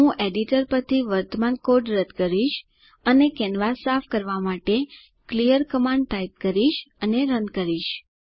હું એડિટર પરથી વર્તમાન કોડ રદ કરીશ અને કેનવાસ સાફ કરવા માટે ક્લિયર કમાન્ડ ટાઇપ કરીશ અને રન કરીશ